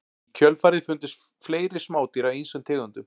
Í kjölfarið fundust fleiri smádýr af ýmsum tegundum.